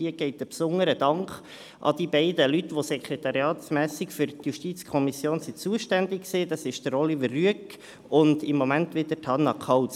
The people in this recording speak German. Hier geht ein besonderer Dank an die verschiedenen Leute, die sekretariatsseitig für die JuKo zuständig waren – Oliver Rüegg und im Moment wieder Hanna Kauz.